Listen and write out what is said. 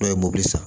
Dɔw ye mobili san